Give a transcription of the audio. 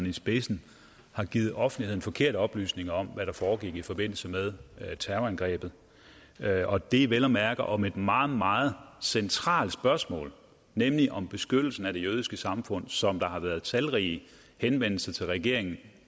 i spidsen har givet offentligheden forkerte oplysninger om hvad der foregik i forbindelse med terrorangrebet og det vel at mærke om et meget meget centralt spørgsmål nemlig om beskyttelsen af det jødiske samfund som der har været talrige henvendelser til regeringen